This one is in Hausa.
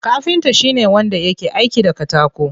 Kafinta shine wanda yake aiki da katako.